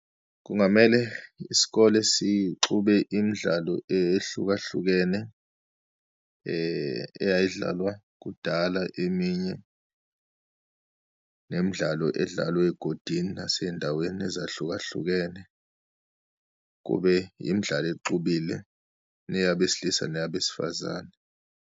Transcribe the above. Kungamele isikole sixube imidlalo ehlukahlukene eyayidlalwa kudala eminye, nemidlalo edlalwa eyigodini naseyindaweni ezahlukahlukene, kube imidlalo exubile neyabesilisa neyabesifazane.